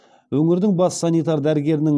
өңірдің бас санитар дәрігерінің